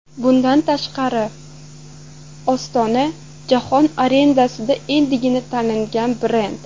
Bundan tashqari, Ostona jahon arenasida endigina tanilgan brend.